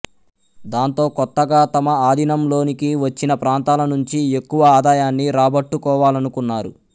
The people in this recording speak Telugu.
దాంతో కొత్తగా తమ ఆధీనంలోనికి వచ్చిన ప్రాంతాల నుంచి ఎక్కువ ఆధాయాన్ని రాబట్టుకోవాలనుకున్నారు